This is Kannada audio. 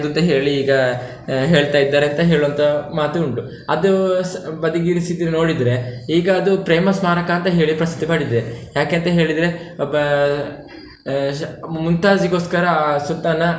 ಅಂತ ಹೇಳಿ ಈಗ ಹೇಳ್ತಾ ಇದ್ದಾರೆ ಅಂತ ಹೇಳುವಂತಹ ಮಾತು ಉಂಟು. ಅದು ಬದಿಗಿಡಿಸಿದ್ದು ನೋಡಿದ್ರೆ, ಈಗ ಅದು ಪ್ರೇಮ ಸ್ಮಾರಕ ಅಂತ ಹೇಳಿ ಪ್ರಸಿದ್ಧಿ ಪಡಿದಿದೆ ಯಾಕೆಂತ ಹೇಳಿದ್ರೆ ಓಬ್ಬ ಆಹ್ ಮುಮ್ತಾಜಿಗೋಸ್ಕರ ಆ ಸುಲ್ತಾನ.